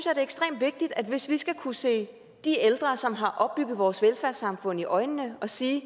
er ekstremt vigtigt at hvis vi skal kunne se de ældre som har opbygget vores velfærdssamfund i øjnene og sige